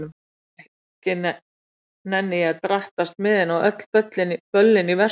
Ekki nenni ég að drattast með henni á öll böllin í Versló.